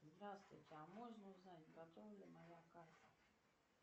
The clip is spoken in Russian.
здравствуйте а можно узнать готова ли моя карта